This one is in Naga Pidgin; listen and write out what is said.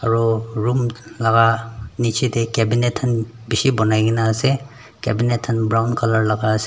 aro room laka niji dae cabinet kan bishi bunai kina ase cabinet kan brown colour laka ase.